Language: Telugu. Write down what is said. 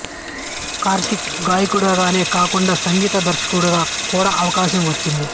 కార్తీక్ గాయకుడు గానే కాకుండా సంగీత దర్శకుడిగా కూడా అవకాశం వచ్చింది